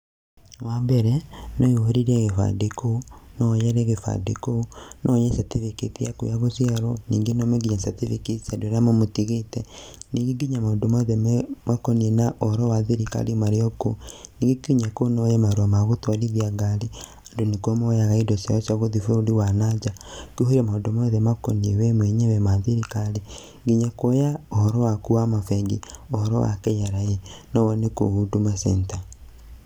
Wambere no woihũrĩrie gĩbandĩ kũu, no woere gĩband kũu no woe certificate yaku ya gũciarwo, ningĩ no wone certificate cia andũ arĩa mamũtigĩte, ningĩ nginya maũndũ mothe makonie na ũhoro wa thirikari marĩ o kũu, ningĩ nginya kũu no woe marũa ma gũtwarithia ngari andũ nĩ kuo moyaga indo cia cia gũthiĩ bũrũri wa nanja na kũihũria maũndũ magũkonie we mwenyewe ma thirikari, nginya kuoya ũhoro waku wa mabengi, ũhoro wa KRA no wone kũu Huduma Centre.